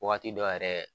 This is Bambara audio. Wagati dɔ yɛrɛ